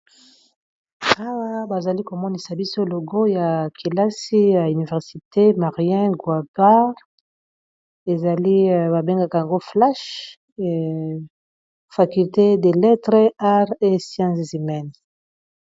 Awa bazali komonisa biso logo ya kelasi ya université marien guapar, ezali babengaka yango flash faculté de lettre arts et sciences humaine.